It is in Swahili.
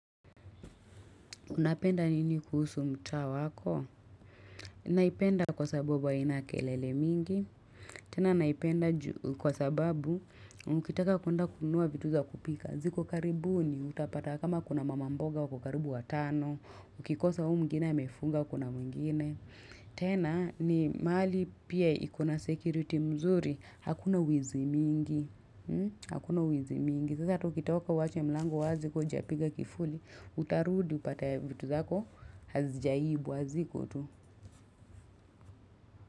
Unapenda nini kuhusu mtaa wako? Naipenda kwa sababu haina kelele mingi. Tena naipenda kwa sababu, mkitaka kuenda kununua vitu za kupika. Ziko karibuni utapata kama kuna mama mboga wako karibu watano. Ukikosa huyu mwingine amefunga kuna mwingine. Tena ni mali pia iko na security mzuri, hakuna wizi mingi. Hakuna wizi mingi. Sasa hata ukitoka uache mlango wazi kama hujapiga kifuli, utarudi upate vitu zako hazijaibwa ziko tu.